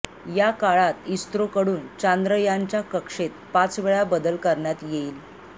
या काळात इस्रोकडून चांद्रयानच्या कक्षेत पाचवेळा बदल करण्यात येईल